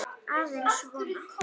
Aðeins svona.